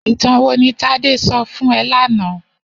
Itàn wó ni Tade sò fún è làná?